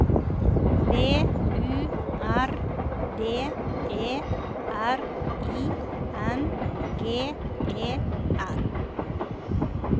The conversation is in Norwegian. V U R D E R I N G E R